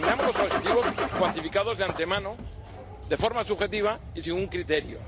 Eliminamos los objetivos cuantificados de antemano, de forma subjetiva y sin un criterio.